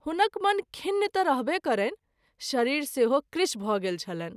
हुनक मन खिन्न त’ रहबे करैनि , शरीर सेहो कृश भ’ गेल छलनि।